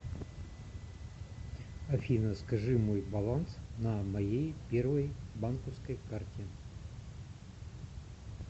афина скажи мой баланс на моей первой банковской карте